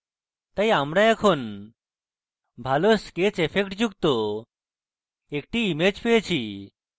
তাই আমরা এখন ভালো sketch effect যুক্ত একটি image পেয়েছি